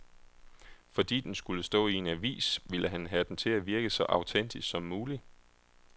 Fordi den skulle stå i en avis, ville han have den til at virke så autentisk som mulig.